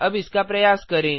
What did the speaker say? अब इसका प्रयास करें